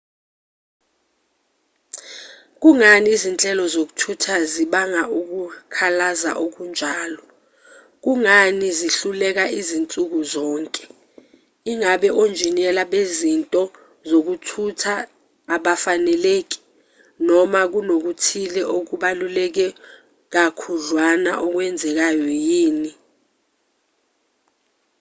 kungani izinhlelo zokuthutha zibanga ukukhalaza okunjalo kungani zihluleka zinsuku zonke ingabe onjiniyela bezinto zokuthutha abafaneleki noma kunokuthile okubaluleke kakhudlwana okwenzekayo yini